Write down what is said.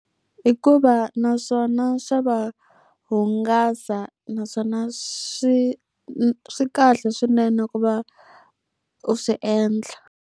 Hikuva na swona swa va hungasa naswona swi swi kahle swinene ku va u swi endla.